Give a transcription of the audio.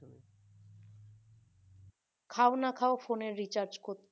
খাও না খাও phone এর recharge করতে